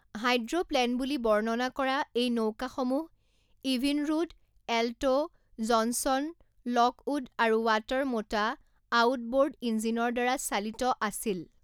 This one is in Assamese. হাইড্ৰ'প্লেন বুলি বৰ্ণনা কৰা এই নৌকাসমূহ ইভিনৰুড, এল্ট', জনছন, লকউড আৰু ৱাটাৰমোটা আউটব'ৰ্ড ইঞ্জিনৰ দ্বাৰা চালিত আছিল।